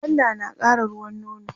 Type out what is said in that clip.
gwanda nakara ruwan nono